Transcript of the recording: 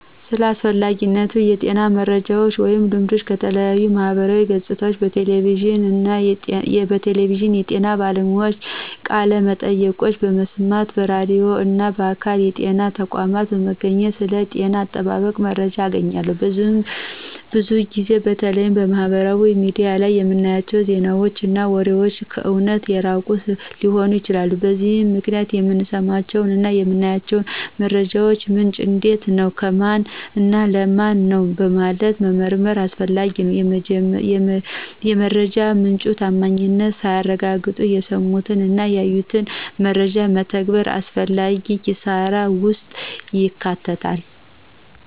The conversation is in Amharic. ስለ አስፈላጊ የጤና መረጃወች ወይም ልምዶች ከተለያዩ የማህበራዊ ገፆች፣ በቴሌቪዥን የጤና ባለሙያዎችን ቃለመጠይቆችን በመስማት፣ በራድዩ እና በአካል የጤና ተቋም በመገኘት ስለ ጤና አጠባበቅ መረጃ እናገኛለን። ብዙ ጊዜ በተለይም ማህበራዊ ሚዲያ ላይ የምናያቸው ዜናወች እና ወሬወች ከእውነት የራቁ ሊሆኑ ይችላሉ። በዚህም ምክንያት የምንሰማቸውን እና የምናያቸውን መረጃወች ምንጭ እንዴት ነው፣ ከማነው፣ እና ለማን ነው በማለት መመርመር አስፈላጊ ነው። የመረጃ ምንጩ ታማኝነት ሳይረጋገጥ የሰሙትን እና ያዩትን መረጃ መተግበር አላስፈላጊ ኪሳራ ውስጥ ይከታል።